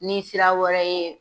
Ni sira wɛrɛ ye